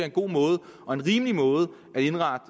en god måde og en rimelig måde